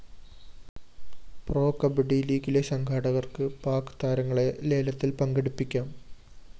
pro kabaddi ലീഗിന്റെ സംഘാടകര്‍ക്ക് പാക് താരങ്ങളെ ലേലത്തില്‍ പങ്കെടുപ്പിക്കാം